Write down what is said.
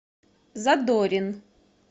задорин